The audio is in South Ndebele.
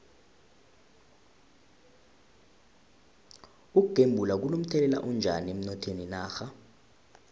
ukugembula kuno mthelela onjani emnothweni wenarha